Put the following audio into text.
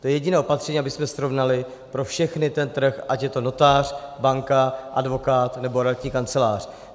To je jediné opatření, abychom srovnali pro všechny ten trh, ať je to notář, banka, advokát, nebo realitní kancelář.